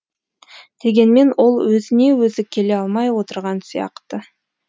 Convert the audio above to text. дегенмен ол өзіне өзі келе алмай отырған сияқты